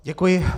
Děkuji.